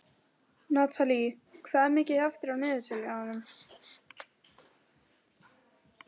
Natalí, hvað er mikið eftir af niðurteljaranum?